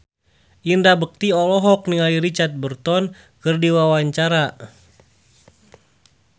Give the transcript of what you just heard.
Indra Bekti olohok ningali Richard Burton keur diwawancara